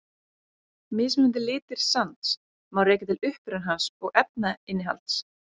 Mismunandi litir sands má rekja til uppruna hans og efnainnihalds.